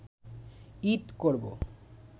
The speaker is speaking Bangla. ঈদ করব